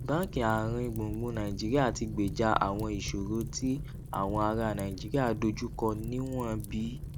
báńkì àárín gbùngbùn nàìjíríà ti gbèjà àwọn ìṣòro tí àwọn ará nàìjíríà dojú kọ níwọ̀n bí